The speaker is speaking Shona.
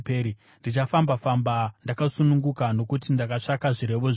Ndichafamba-famba ndakasununguka, nokuti ndakatsvaka zvirevo zvenyu.